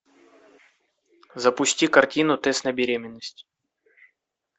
запусти картину тест на беременность